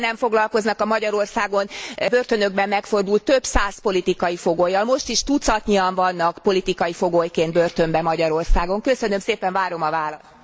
Szintén nem foglalkoznak a Magyarországon börtönökben megfordult több száz politikai fogollyal. Most is tucatnyian vannak politikai fogolyként börtönben Magyarországon. Köszönöm szépen, várom a választ.